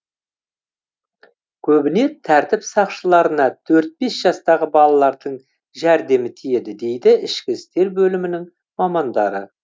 көбіне тәртіп сақшыларына төрт бес жастағы балалардың жәрдемі тиеді дейді ішкі істер бөлімінің мамандары